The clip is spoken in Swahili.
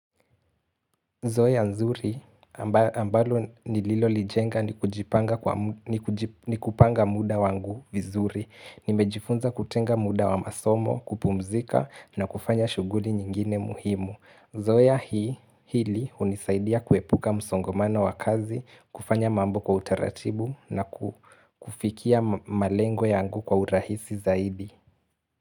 Zoea nzuri ambalo nililo lijenga ni kupanga muda wangu vizuri. Nimejifunza kutenga muda wa masomo, kupumzika na kufanya shuguli nyingine muhimu. Zoea hili hunisaidia kuepuka msongomano wa kazi, kufanya mambo kwa utaratibu na kufikia malengo yangu kwa urahisi zaidi.